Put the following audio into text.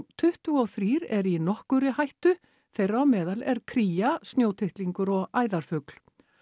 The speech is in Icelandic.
tuttugu og þrír eru í nokkurri hættu þeirra á meðal er kría snjótittlingur og æðarfugl